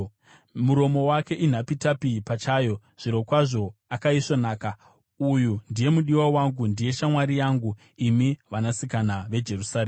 Muromo wake inhapitapi pachayo; zvirokwazvo akaisvonaka. Uyu ndiye mudiwa wangu, ndiye shamwari yangu, imi vanasikana veJerusarema.